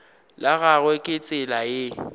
la gagwe ke tsela ye